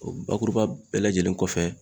O bakuruba bɛɛ lajɛlen kɔfɛ